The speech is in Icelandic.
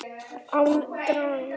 Án draums.